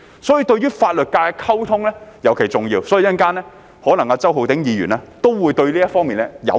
所以與法律界的溝通尤其重要，稍後可能周浩鼎議員也會對這方面表達意見。